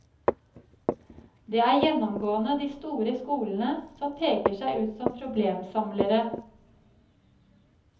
Det er gjennomgående de store skolene som peker seg ut som problemsamlere.